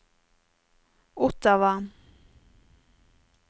Ottawa